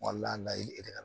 Walahi